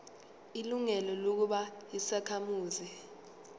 ilungelo lokuba yisakhamuzi